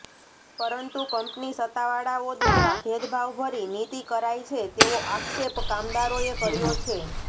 પરંતુ કંપની સત્તાવાળાઓ દ્વારા ભેદભાવ ભરી નીતિ કરાય છે તેવો આક્ષેપ કામદારોએ કર્યો છે